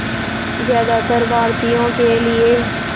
ज़्यादातर भारतीयों के लिए